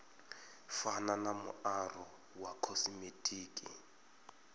fana na muaro wa khosimetiki